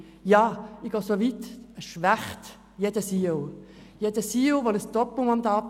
Ja, ich gehe so weit, zu sagen, dass dies jeden CEO schwächen würde.